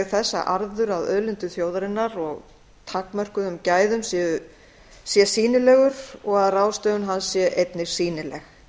að arður af auðlindum þjóðarinnar og takmörkuðum gæðum sé sýnilegur og að ráðstöfun hans sé einnig sýnileg